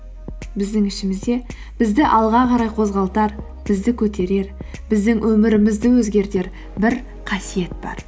біздің ішімізде бізді алға қарай қозғалтар бізді көтерер біздің өмірімізді өзгертер бір қасиет бар